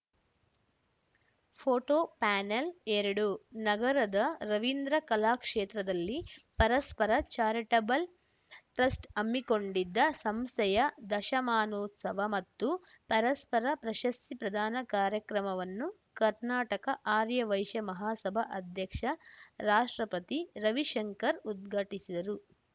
photo ಪ್ಯಾನಲ್‌ಎರಡು ನಗರದ ರವಿಂದ್ರ ಕಲಾಕ್ಷೇತ್ರದಲ್ಲಿ ಪರಸ್ಪರ ಚಾರಿಟಬಲ್‌ ಟ್ರಸ್ಟ್ ಹಮ್ಮಿಕೊಂಡಿದ್ದ ಸಂಸ್ಥೆಯ ದಶಮಾನೋತ್ಸವ ಮತ್ತು ಪರಸ್ಪರ ಪ್ರಶಸ್ತಿ ಪ್ರದಾನ ಕಾರ್ಯಕ್ರಮವನ್ನು ಕರ್ನಾಟಕ ಆರ್ಯವೈಶ್ಯ ಮಹಾಸಭಾ ಅಧ್ಯಕ್ಷ ರಾಷ್ಟ್ರಪತಿರವಿಶಂಕರ್‌ ಉದ್ಘಾಟಿಸಿದರು